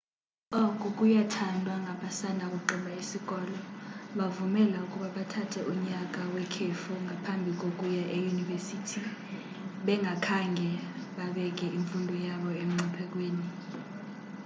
oku kuyathandwa ngabasanda kugqiba isikolo kubavumela ukuba bathathe unyaka wekhefu ngaphambi kokuya eyunivesithi bengakhange babeke imfundo yabo emngciphekweni